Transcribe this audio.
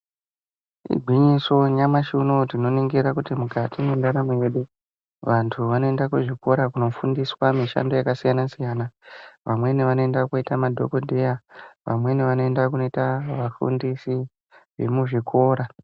Igwinyiso nyamashi unowu tinoningira kuti mukati mwendaramo yedu vantu vanoenda kuzvikora kunofundiswa mishando yakasiyana-siyana. Vamweni vanoenda koita madhokodheya, vamweni vanoenda kunoita vafundisi vemuzvikora.